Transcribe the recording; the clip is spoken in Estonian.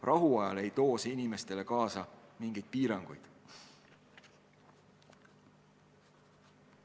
Rahuajal ei too see inimestele kaasa mingeid piiranguid.